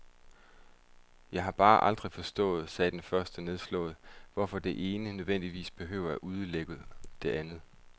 Jeg har bare aldrig forstået, sagde den første nedslået, hvorfor det ene nødvendigvis behøver at udelukke det andet.